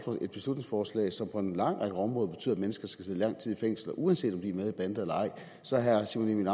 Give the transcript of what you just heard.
et beslutningsforslag som på en lang række områder betyder at mennesker skal sidde lang tid i fængsel uanset om de er med i bander eller ej så herre simon emil